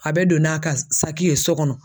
A bɛ don n'a ka saki ye sɔ kɔnɔ